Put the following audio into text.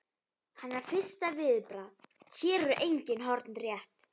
Hennar fyrsta viðbragð: Hér eru engin horn rétt.